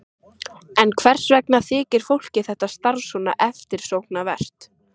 En hvers vegna þykir fólki þetta starf svona eftirsóknarvert?